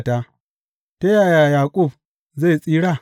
Ta yaya Yaƙub zai tsira?